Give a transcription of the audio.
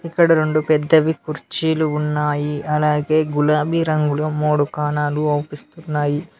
ఇక్కడ రెండు పెద్దవి కుర్చీలు ఉన్నాయి అలాగే గులాబీ రంగులో మూడు కాణాలు అవిపిస్తున్నాయి.